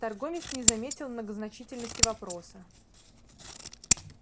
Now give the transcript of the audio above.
торговец не заметил многозначительности вопроса